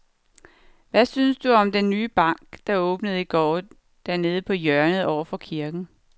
Hvad synes du om den nye bank, der åbnede i går dernede på hjørnet over for kirken?